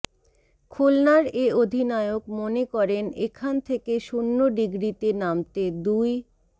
খুলনার এ অধিনায়ক মনে করেন এখান থেকে শূন্য ডিগ্রিতে নামতে দুই